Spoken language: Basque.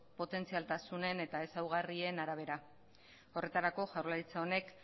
potentzialtasunen eta ezaugarrien arabera horretarako jaurlaritza honek